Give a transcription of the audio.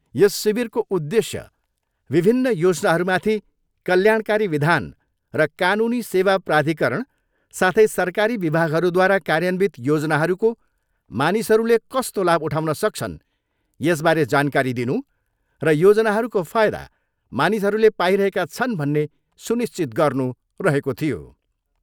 यस शिविरको उद्देश्य विभिन्न योजनाहरूमाथि कल्याणकारी विधान र कानुनी सेवा प्राधिकरण साथै सरकारी विभागहरूद्वारा कार्यन्वित योजनाहरूको मानिसहरूले कस्तो लाभ उठाउन सक्छन्, यसबारे जानकारी दिनु र योजनाहरूको फायदा मानिसहरूले पाइरहेका छन् भन्ने सुनिश्चित गर्नु रहेको थियो।